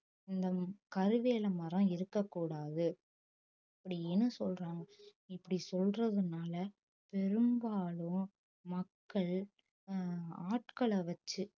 இந்த கருவேல மரம் இருக்கக்கூடாது அப்படின்னு சொல்றாங்க இப்படி சொல்றதுனால பெரும்பாலும் மக்கள் அஹ் ஆட்களை வச்சு